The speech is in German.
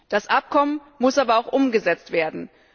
Das Abkommen muss aber auch umgesetzt werden.